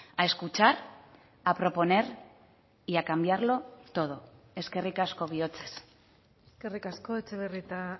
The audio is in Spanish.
a escuchar a proponer y a cambiarlo todo eskerrik asko bihotzez eskerrik asko etxebarrieta